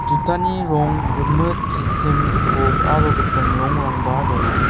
jutani rong rimit gisim gipok aro gipin rangrangba donga.